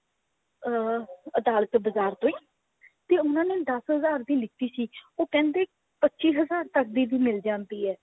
ਅਹ ਅਦਾਲਤ ਬਜ਼ਾਰ ਤੋਂ ਹੀ ਤੇ ਉਹਨਾਂ ਨੇ ਦਸ ਹਜ਼ਾਰ ਦੀ ਲੀਤੀ ਸੀ ਉਹ ਕਹਿੰਦੇ ਪਚੀ ਹਜ਼ਾਰ ਤੱਕ ਦੀ ਵੀ ਮਿਲ ਜਾਂਦੀ ਹੈ